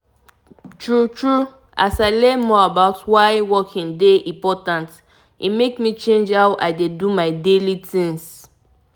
na true as i begin find time to dey um waka e um really help um really help me dey more gallant and healthy.